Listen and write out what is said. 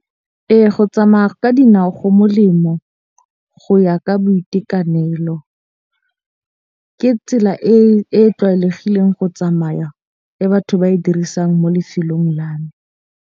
Ee, go tsamaya ka dinao go molemo go ya ka boitekanelo, ke tsela e tlwaelegileng go tsamaya e batho ba e dirisang mo lefelong la me.